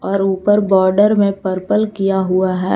और ऊपर बॉर्डर में पर्पल किया हुआ है।